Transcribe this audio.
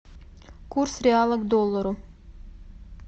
курс реала к доллару